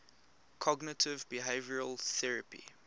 cognitive behavioral therapy